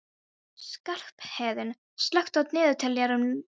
Skarphéðinn, slökktu á niðurteljaranum.